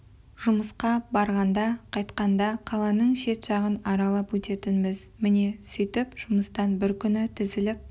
жұмысқа барғанда қайтқанда қаланың шет жағын аралап өтетінбіз міне сөйтіп жұмыстан бір күні тізіліп